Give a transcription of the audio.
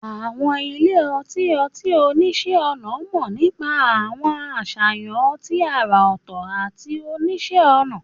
Àwọn ilé ọtí ọtí oníṣẹ́-ọnà mọ̀ nípa àwọn àṣàyàn ọtí àrà ọ̀tọ̀ àti oníṣẹ́-ọnà.